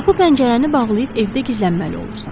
Qapı pəncərəni bağlayıb evdə gizlənməli olursan.